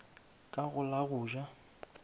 ka go la go ja